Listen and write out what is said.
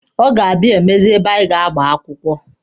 Ọ ga-abịa imezi ebe anyị ga-agba akwụkwọ.